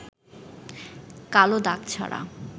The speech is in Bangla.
কালো দাগ ছাড়া